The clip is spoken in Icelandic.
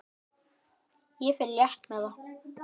Ég fer létt með það.